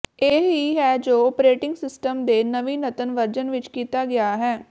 ਇਹ ਹੀ ਹੈ ਜੋ ਓਪਰੇਟਿੰਗ ਸਿਸਟਮ ਦੇ ਨਵੀਨਤਮ ਵਰਜਨ ਵਿੱਚ ਕੀਤਾ ਗਿਆ ਹੈ